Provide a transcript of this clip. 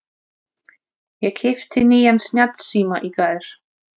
Ég keypti nýjan snjallsíma í gær.